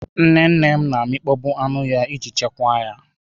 Nnenne m na amịkpọ bụ anụ ya iji chekwa ya.